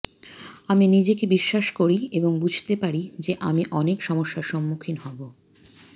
আমি নিজেকে বিশ্বাস করি এবং বুঝতে পারি যে আমি অনেক সমস্যার সম্মুখীন হব